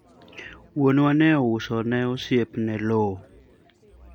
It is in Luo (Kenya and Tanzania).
wuonna ne ouso ni osiepne lowo